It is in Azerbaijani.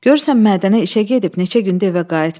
Görürsən Mədənə işə gedib, neçə gündü evə qayıtmayıb.